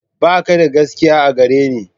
Ba ka da gaskiya a gare ni.